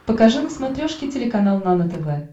покажи на смотрешке телеканал нано тв